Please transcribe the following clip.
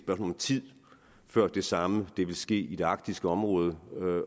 om tid før det samme vil ske i det arktiske område